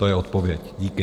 To je odpověď, díky.